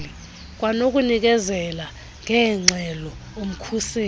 kwanokunikezela ngeengxelo umkhuseli